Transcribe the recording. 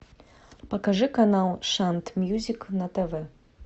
покажи канал шант мьюзик на тв